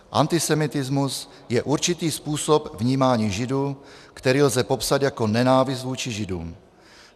Antisemitismus je určitý způsob vnímání Židů, který lze popsat jako nenávist vůči Židům.